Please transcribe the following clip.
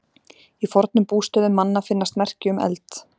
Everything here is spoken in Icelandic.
Í fornum bústöðum manna finnast merki um eld.